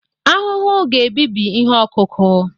ahụhụ ga-ebibi ihe ọkụkụ